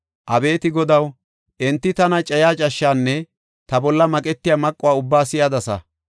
Abeeti Godaw, enti tana cayiya cashshaanne ta bolla maqetiya maquwa ubbaa si7adasa.